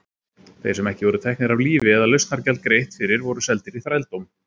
Þeir sem ekki voru teknir af lífi eða lausnargjald greitt fyrir voru seldir í þrældóm.